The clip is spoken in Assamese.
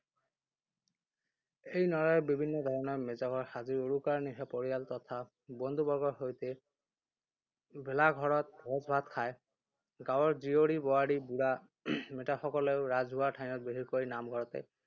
এই নৰাৰে বিভিন্ন ধৰণৰে ভেলাঘৰ সাজি উৰুকাৰ নিশা পৰিয়াল তথা বন্ধু-বৰ্গৰ সৈতে ভেলাঘৰত ভোজ-ভাত খায়। গাঁৱৰ জীয়ৰী-বোৱাৰী, বুঢ়া মেঠাসকলেও ৰাজহুৱা ঠাইত, বিশেষকৈ নামঘৰতে